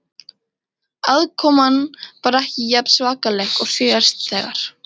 Aðkoman var ekki jafn svakaleg og síðast þegar